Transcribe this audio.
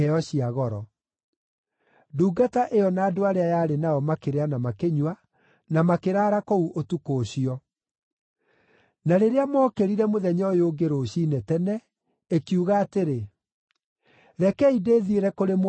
Ndungata ĩyo na andũ arĩa yarĩ nao makĩrĩa na makĩnyua, na makĩraara kũu ũtukũ ũcio. Na rĩrĩa mookĩrire mũthenya ũyũ ũngĩ rũciinĩ tene, ĩkiuga atĩrĩ, “Rekei ndĩthiĩre kũrĩ mwathi wakwa.”